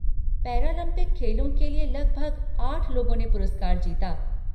Paralympic खेलों के लिए लगभग आठ लोगों ने पुरस्कार जीता।